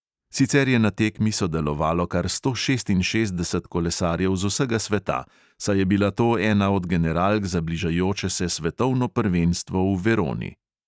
Sicer je na tekmi sodelovalo kar sto šestinšestdeset kolesarjev z vsega sveta, saj je bila to ena od generalk za bližajoče se svetovno prvenstvo v veroni.